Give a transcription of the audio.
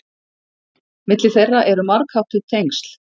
Milli þeirra eru margháttuð tengsl.